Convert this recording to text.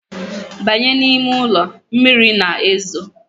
Banye! ni ime uli, mmiri na ezo